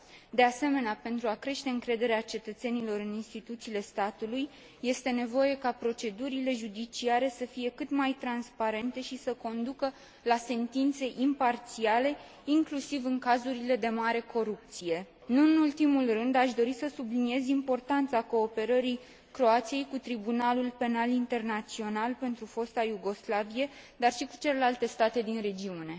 De asemenea, pentru a crește încrederea cetățenilor în instituțiile statului este nevoie ca procedurile judiciare să fie cât mai transparente și să conducă la sentințe imparțiale, inclusiv în cazurile de mare corupție. Nu în ultimul rând, aș dori să subliniez importanța cooperării Croației cu Tribunalul Penal Internațional pentru Fosta Iugoslavie, dar și cu celelalte state din regiune.